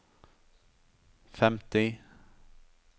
femti